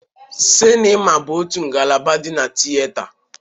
Sinima bụ otu ngalaba di na tiyeta.